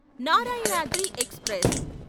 Narayanadri express